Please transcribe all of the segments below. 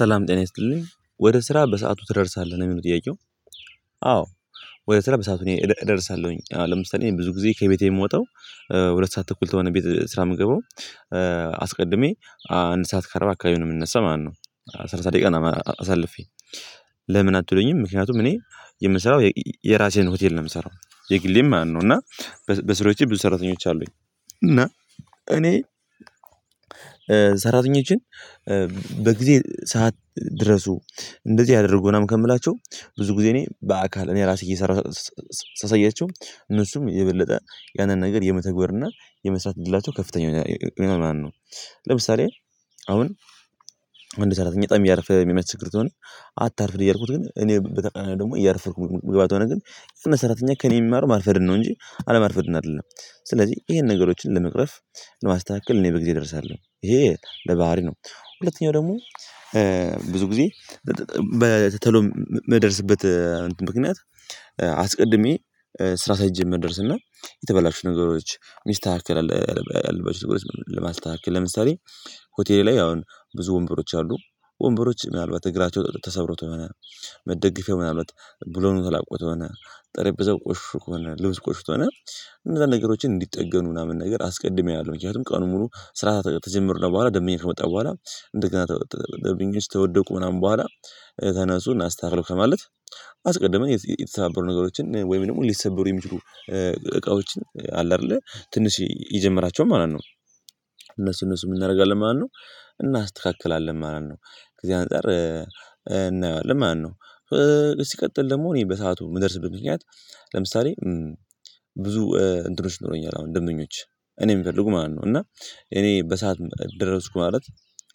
ሰላም ጤና ይስጥልኝ ወደ ስራ በሰአቱ ትደርሳለህ ነው ሚለው ጥያቄው? አዎ ወደ ስራ በሰአቱ እደርሳለሁኝ አሁን ለምሳሌ ብዙ ጊዜ ከቤቴ የምወጣው ሁለት ሰዓት ተኩል ተሆነ ቤት ስራ ምገባው አስቀድሜ አንድ ሰዓት ካርባ አካባቢ ነው የምንነሳው ማለት ነው። ሰላሳ ደቂቃ አሳልፌ ለምን አትሉኝም ምክንያቱም እኔ የምሰራው የራሴን ሆቴል ነው የምሰራው የግሌን ማለት ነው። እና በስሮቼ ብዙ ሰራተኞች አሉኝ። እና እኔ ሰራተኞችን በጊዜ ሰዓት ድረሱ እንደዚህ አድርጉ ምናምን ከምላቸው ብዙ ጊዜ እኔ በአካል እኔ ራሴ እየሰራሁ ሳሳያቸው እነሱም የበለጠ ያንን ነገር የመተግበር እና የመስራት እድላቸው ከፍተኛ ይሆናል ማለት ነው። ለምሳሌ አሁን አንድ ሰራተኛ በጣም እያረፈደ የሚያስቸግር ከሆነ አታርፍድ እያልኩት ግን እኔ በተቀራኒው ደግሞ እያረፈርኩ ምግባ ከሆነ ግን የሰራተኛ ከእኔ የሚማረው ማርፈድን ነው እንጂ አለማርፈድን አይደለም። ስለዚህ ይሄን ነገሮችን ለመቅረፍ ለማስተካከል እኔ በጊዜ እደርሳለሁ ይሄ ለባህሪ ነው። ሁለተኛው ደግሞ ብዙ ጊዜ በቶሎ የምደርስበት ምክንያት አስቀድሜ ስራ ሳይጀመር እደርስ እና የተበላሽ ነገሮች ሚስተካከል አለ። ለማስተካከል ለምሳሌ ሆቴል ላይ አሁን ብዙ ወንበሮች አሉ ወንበሮች ምናልባት እግራቸው ተሰብሮ ተሆነ መደገፊያው ምናልባት ቡለኑ ተላቆ ተሆነ ጠረጴዛው ቆሽሾ ከሆነ ልብሱ ቆሽሾ ከሆነ እነዛ ነገሮችን እንዲጠገኑ ምናምን ነገር አስቀድሜ አያለሁ። ምክንያቱም ቀኑን ሙሉ ስራ ተጀምርን በኋላ ደምኛ ከመጣ በኋላ እንደገና ደንበኞች ከወደቁ ምናምን በኋላ ተነሱ እናስተካክለው ከማለት አስቀድመን የተሰባበሩ ነገሮችን ወይም ደግሞ ሊሰበሩ የሚችሉ እቃዎች አለ አይደለ ትንሽ የጀምራቸውን ማለት እነሱ እነሱ ምን እናደርጋለን ማለት ነው እናስተካክላለን ማለት ነው ከዚህ አንፃር እናየዋለን ማለት ነው። ሲቀጥል ደግሞ እኔ በሰአቱ የምደርስበት ምክንያት ለምሳሌ ብዙ እንትኖች ይኖሮኛል አሁን ደምበኞች እኔ የምፈልጉ ማለት ነው እና እኔ በሰአት ደረስኩ ማለት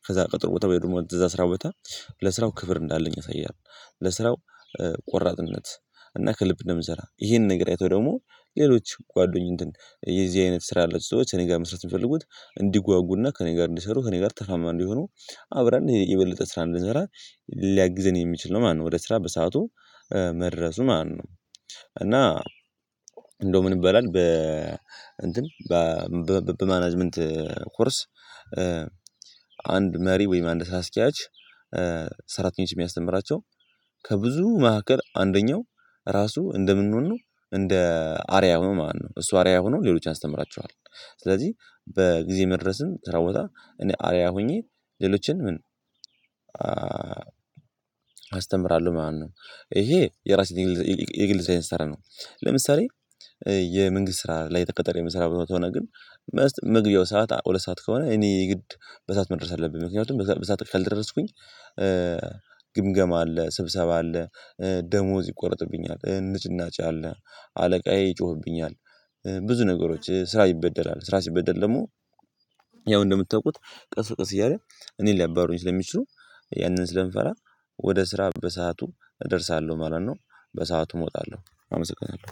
ከዛ ቀጠሮ ቦታ ወይ ደግሞ እዛ ስራ ቦታ ለስራው ክብር እንዳለኝ ያሳያል። ለስራው ቆራጥነት እና ከልብ እንደምሰራ ይሄንን ነገር አይተው ደግሞ ሌሎች ጓደኞችን የዚህ አይነት ስራ ያላቸው ሰዎች እኔ ጋር መስራት የሚፈልጉት እንዲጓጉና ከእኔ ጋር እንዲሰሩ ከእኔ ጋር ተርፋማ እንዲሆኑ አብረን የበለጠ ስራ እንድንሰራ ሊያግዘን የሚችል ነው ማለት ነው። ወደ ስራ በሰአቱ መድረሱ ማለት ነው። እና እንደው ምን ይበላል በ እንትን በ በማናጅመንት ኮርስ አንድ መሪ ወይም አንድ አስኪያጅ ሰራተኞች የሚያስተምራቸው ከብዙ መካከል አንደኛው ራሱ እንደ ምን ሁኖ ነው እንደ አርዓያ ሆኖ ማለት ነው። እሱ አርዓያ ሆኖ ሌሎችን ያስተምራቸዋል። ስለዚህ በጊዜ መድረስን ስራ ቦታ እኔ አርዓያ ሆኜ ሌሎችን ምን አስተምራለሁ ማለት ነው። ይሄ የራሴን የግሌን ስራ ነው። ለምሳሌ የመንግስት ስራ ላይ ተቀጠሬ የምሰራው ሆኖ ከሆነ ግን መግቢያው ሰዓት ሁለት ሰዓት ከሆነ እኔ የግድ በሰአት መድረስ አለብኝ ምክንያቱም በሰአት ካልደረስኩኝ አለ ስብሰባ አለ። ደሞዝ ይቆረጥብኛል ንጭናጭ አለ አለቃዬ ይጮህብኛል። ብዙ ነገሮች ስራ ይበደላል ስራ ሲበደል ደግሞ ያው እንደምታውቁት ቀስ በቀስ እያለ እኔን ሊያባሩኝ ስለሚችሉ ያንን ስለምፈራ ወደ ስራ በሰአቱ እደርሳለሁ ማለት ነው። በሰአቱ እወጣለሁ። አመሰግናለሁ